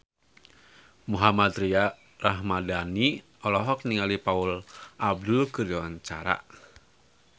Mohammad Tria Ramadhani olohok ningali Paula Abdul keur diwawancara